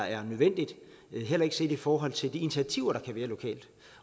er nødvendigt heller ikke set i forhold til de initiativer der kan være lokalt